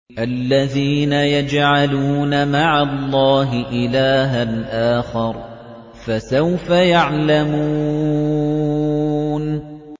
الَّذِينَ يَجْعَلُونَ مَعَ اللَّهِ إِلَٰهًا آخَرَ ۚ فَسَوْفَ يَعْلَمُونَ